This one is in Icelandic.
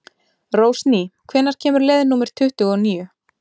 Rósný, hvenær kemur leið númer tuttugu og níu?